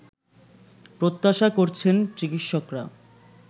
প্রত্যাশা করছেন চিকিৎসকরা